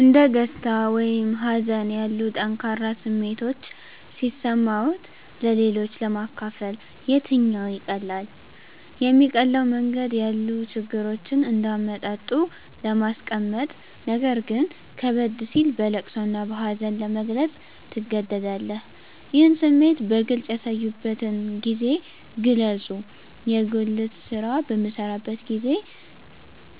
እንደ ደስታ ወይም ሀዘን ያሉ ጠንካራ ስሜቶች ሲሰማዎት-ለሌሎች ለማካፈል የትኛው ይቀላል? የሚቀለው መንገድ ያሉ ችግሮችን እንደ አመጣጡ ለማስቀመጥነገር ግን ከበድ ሲል በለቅሶ እና በሀዘን ለመግለፅ ትገደዳለህ ይህን ስሜት በግልጽ ያሳዩበትን ጊዜ ግለጹ የጉልት ስራ በምሰራበት አንድ ጊዜ